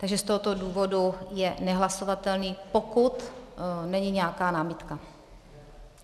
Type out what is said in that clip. Takže z tohoto důvodu je nehlasovatelný, pokud není nějaká námitka.